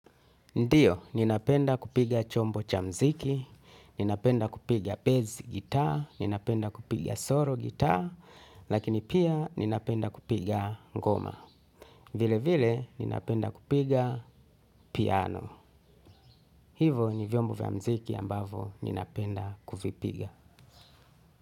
Ndiyo, ninapenda kupiga chombo cha muziki, ninapenda kupiga bezi gitaa, ninapenda kupiga solo gitaa, lakini pia ninapenda kupiga ngoma. Vile vile, ninapenda kupiga piano. Hivyo, ni vyombo vya muziki ambavyo ninapenda kuvipiga.